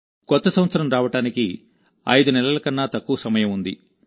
కొత్త సంవత్సరం రావడానికి 5 నెలల కన్నా తక్కువ సమయం ఉంది